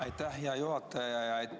Aitäh, hea juhataja!